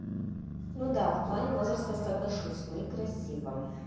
ну да в плане возраста соглашусь некрасиво